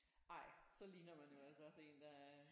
Ej så ligner man jo altså også en der